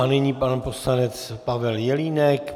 A nyní pan poslanec Pavel Jelínek.